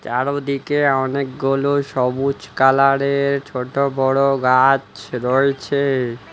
চারোদিকে অনেকগুলো সবুজ কালারের ছোট বড়ো গাছ রয়েছে।